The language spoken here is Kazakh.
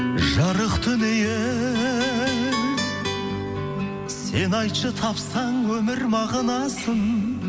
жарық дүние сен айтшы тапсаң өмір мағынасын